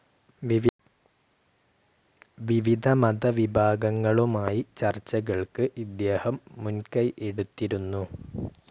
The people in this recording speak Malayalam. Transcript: വിവിധ മത വിഭാഗങ്ങളുമായി ചർച്ചകൾക്ക് ഇദ്ദേഹം മുൻകൈ എടുത്തിരുന്നു.